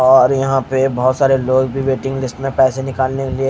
और यहाँ पर बहोत सारे लोग वेटिंग लिस्ट में पैसे निकालने के लिए--